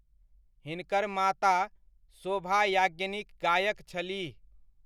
हिनकर माता शोभा याज्ञनिक गायक छलीह।